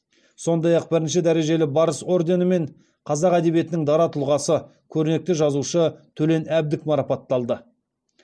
сондай ақ бірінші дәрежелі барыс орденімен қазақ әдебиетінің дара тұлғасы көрнекті жазушы төлен әбдік марапатталды